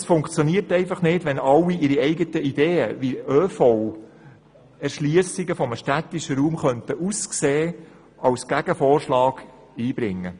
Es funktioniert einfach nicht, wenn alle ihre Ideen, wie ÖV-Erschliessungen eines städtischen Raums aussehen könnten, als Gegenvorschlag einbringen.